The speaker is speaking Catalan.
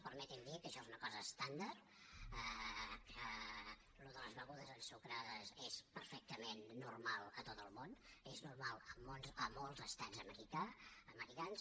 permeti’m dir que això és una cosa estàndard que el tema de les begudes ensucrades és perfectament normal a tot el món és normal a molts estats americans